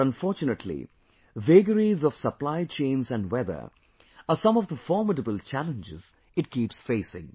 But unfortunately, vagaries of supply chains & weather are some of the formidable challenges it keeps facing